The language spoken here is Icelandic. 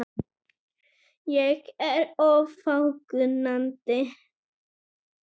Ég er of fákunnandi.